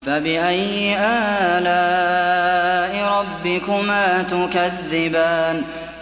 فَبِأَيِّ آلَاءِ رَبِّكُمَا تُكَذِّبَانِ